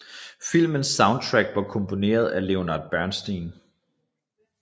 Filmens soundtrack var komponeret af Leonard Bernstein